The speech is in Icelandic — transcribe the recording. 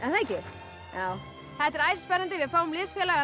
það ekki þetta er æsispennandi við fáum